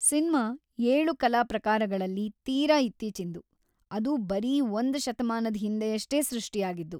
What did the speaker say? Cinema ಏಳು ಕಲಾ ಪ್ರಕಾರಗಳಲ್ಲಿ ತೀರಾ ಇತ್ತೀಚಿಂದು, ಅದು ಬರೀ ಒಂದ್ ಶತಮಾನದ್ ಹಿಂದೆಯಷ್ಟೇ ಸೃಷ್ಟಿಯಾಗಿದ್ದು.